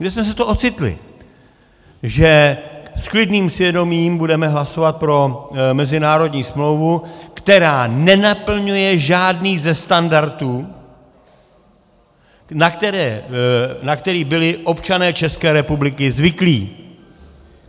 Kde jsme se to ocitli, že s klidným svědomím budeme hlasovat pro mezinárodní smlouvu, která nenaplňuje žádný ze standardů, na které byli občané České republiky zvyklí?